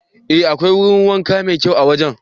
Ee, akwai wurin wanka mai kyau a wajen.